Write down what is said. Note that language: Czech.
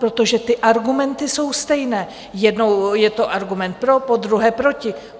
Protože ty argumenty jsou stejné, jednou je to argument pro, podruhé proti.